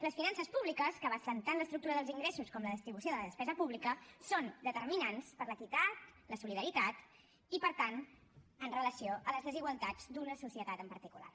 les finances públiques que abasten tant l’estructura dels ingressos com la distribució de la despesa pública són determinants per a l’equitat la solidaritat i per tant en relació amb les desigualtats d’una societat en particular